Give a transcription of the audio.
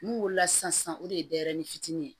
N'u wolola sisan o de ye denyɛrɛni fitini ye